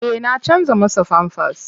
Eh na canja masa famfas.